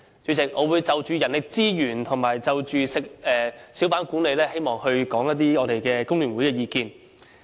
主席，我會就人力資源及小販管理方面表達工聯會的意見。